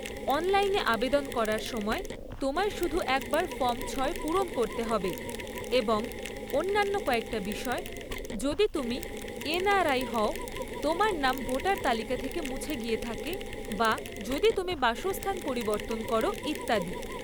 অনলাইনে আবেদন করার সময়, তোমায় শুধু একবার ফর্ম ছয় পূরণ করতে হবে, এবং অন্যান্য কয়েকটা বিষয়, যদি তুমি এন.আর.আই হও, তোমার নাম ভোটার তালিকা থেকে মুছে গিয়ে থাকে বা যদি তুমি বাসস্থান পরিবর্তন করো, ইত্যাদি।